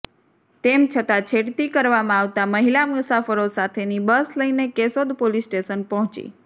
તેમ છતાં છેડતી કરવામાં આવતા મહિલા મુસાફરો સાથેની બસ લઈને કેશોદ પોલીસ સ્ટેશન પહોંચી